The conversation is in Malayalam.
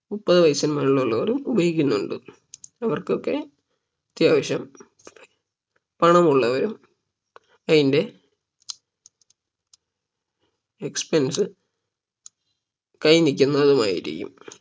മുപ്പതിന് വയസിന് മേലെ ഉള്ളവരും ഉപയോഗിക്കുന്നുണ്ട് അവർക്കൊക്കെ അത്യാവശ്യം പണമുള്ളവരും അതിന്റെ expense കൈയിൽ നിൽക്കുന്നവരുമായിരിക്കും